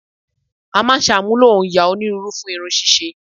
A máa ń ṣàmúlò òòyà onírúurú fún irun ṣíṣe